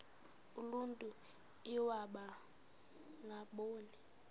uluntu iwaba ngaboni